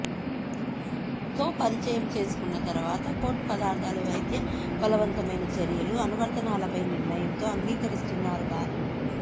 తో పరిచయం చేసుకున్న తర్వాత కోర్టు పదార్థాలు వైద్య బలవంతమైన చర్యలు అనువర్తనాలపై నిర్ణయం తో అంగీకరిస్తున్నారు కాదు